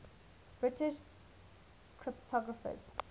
british cryptographers